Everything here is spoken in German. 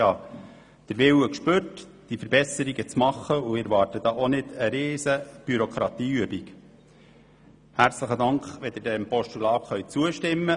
Ich habe den Willen herausgespürt, Verbesserungen vorzunehmen, und ich erwarte auch nicht, dass dazu eine riesige bürokratische Übung notwendig sein wird.